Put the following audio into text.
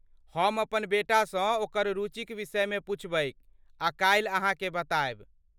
हम अपन बेटासँ ओकर रुचिक विषयमे पूछबैक आ काल्हि अहाँकेँ बतायब।